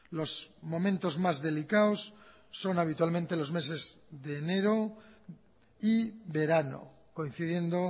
los momentos más delicados son habitualmente los meses de enero y verano coincidiendo